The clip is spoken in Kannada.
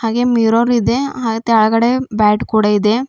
ಹಾಗೆ ಮಿರರ್ ಇದೆ ಹಾ ತೆಲ್ಗಡೆ ಬ್ಯಾಟ್ ಕೂಡ ಇದೆ.